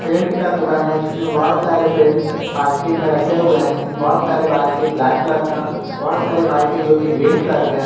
पेट का दुकान है जिसमें बहुत सारे पेंट बाल्टी में रखे हुए हैं जिसमें बहुत सारे बाल्टी ब्लैक कलर के है बहुत सारे बाल्टी जोकि ग्रीन कलर के हैं।